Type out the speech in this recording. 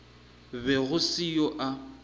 be go se yo a